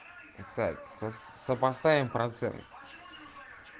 так сопоставим процент